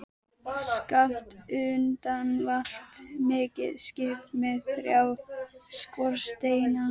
Skammt undan valt mikið skip með þrjá skorsteina.